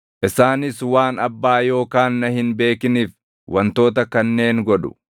Isaanis waan Abbaa yookaan na hin beekiniif wantoota kanneen godhu.